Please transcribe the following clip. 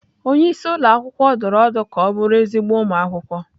Onye isi ụlọ akwụkwọ dụrụ ọdụ ka ọ bụrụ ezigbo ụmụ akwụkwọ.